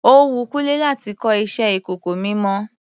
Ó wun Kúnlé láti kọ iṣẹ ìkọ̀kọ̀ mímọ.